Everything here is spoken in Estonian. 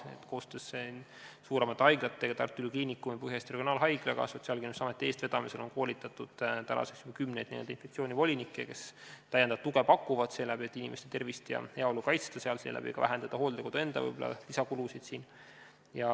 Nii et koostöös suuremate haiglatega, Tartu Ülikooli Kliinikumi ja Põhja-Eesti Regionaalhaiglaga on Sotsiaalkindlustusameti eestvedamisel koolitatud nüüdseks juba kümneid inspektsioonivolinikke, kes pakuvad lisatuge seeläbi, et inimeste tervist ja heaolu kaitsta ning vähendada hooldekodu enda kulusid.